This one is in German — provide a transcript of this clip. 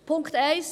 Punkt 1